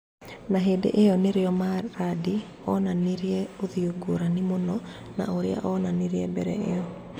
Na hĩndĩ ĩyo nĩrĩo Maradi onanirie ũthiũ ngũrani mũno na ũrĩa onanirie mbere ĩyo